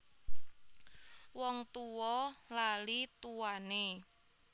Wong tuwa lali tuwane